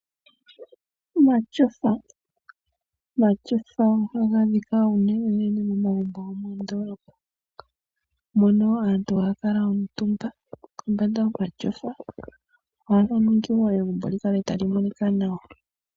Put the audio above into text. Omatyofa! Omatyofa ohaga adhika momagumbo gomoondoolopa . Mono aantu haya kuutumba komatyofa. Ohaga ningi woo egumbo likale tali monika nawa.